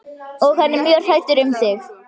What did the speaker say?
Og hann er mjög hræddur um þig.